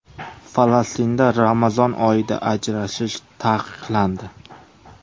Falastinda Ramazon oyida ajrashish taqiqlandi.